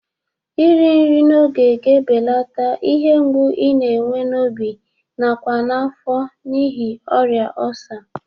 Iri nri n'oge ga-ebeleta ihe mgbụ i na-enwe n'obi nakwa n'afọ n'ihi ọrịa ọlsa.